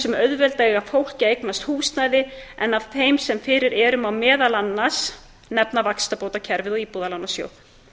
sem auðvelda eiga fólki að eignast húsnæði en af þeim sem fyrir eru má nefna vaxtabótakerfið og íbúðalánasjóð